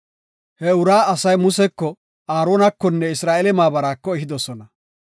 He uraa asay Museko, Aaronakonne Isra7eele maabaraako ehidosona.